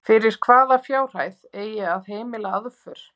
Fyrir hvaða fjárhæð eigi að heimila aðför?